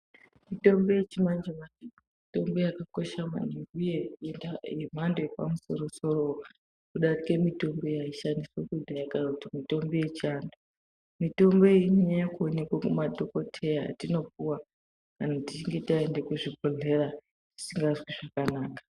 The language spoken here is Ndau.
Mitombo yechimanje manje mitombo yakakosha manhingi huye yemhando yepamusoro soro kudarike mitombo yaishandiswa kudhaya kana kuti mitombo yechando. Mitombo iyi inonyanya kuonekwa kumadhokodheya yatinopuwa kana tichinge taenda kuzvibhedhleya tisingazwi zvakanaka.